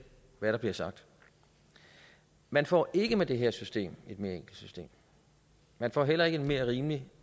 hvad der bliver sagt man får ikke med det her system et mere enkelt system man får heller ikke en mere rimelig